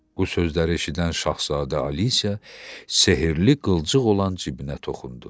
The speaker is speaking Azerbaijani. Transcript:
Bu sözləri eşidən Şahzadə Alisə sehirli qılcıq olan cibinə toxundu.